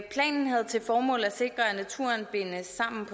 planen havde til formål at sikre at naturen bindes sammen